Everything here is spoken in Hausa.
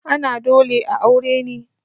ana dole a aure ne?